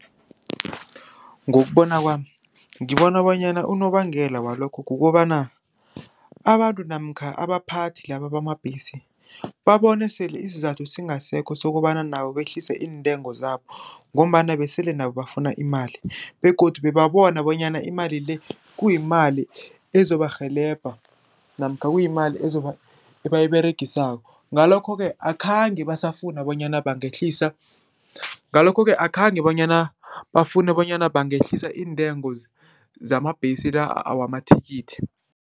Ngokubona kwami, ngibona bonyana unobangela walokho kukobana abantu namkha abaphathi laba bamabhesi babone sele isizathu singasekho sokobana nabo behlise iintengo zabo ngombana besele nabo bafuna imali begodu babona bonyana imali le kuyimali ezobarhelebha namkha kuyimali ebayiberegisako. Ngalokho-ke akhange basafuna bonyana bangehlisa, ngalokho-ke akhange bonyana bafune bonyana bangehlisa iintengo zamabhesi la wamathikithi.